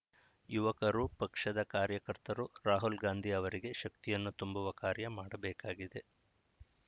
ಯುವಕರು ಪಕ್ಷದ ಕಾರ್ಯಕರ್ತರು ರಾಹುಲ್‌ ಗಾಂಧಿ ಅವರಿಗೆ ಶಕ್ತಿಯನ್ನು ತುಂಬುವ ಕಾರ್ಯ ಮಾಡಬೇಕಾಗಿದೆ